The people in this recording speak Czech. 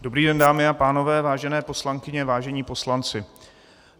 Dobrý den, dámy a pánové, vážené poslankyně, vážení poslanci.